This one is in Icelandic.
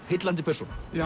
heillandi persóna